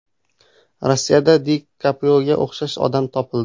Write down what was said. Rossiyada Di Kaprioga o‘xshash odam topildi.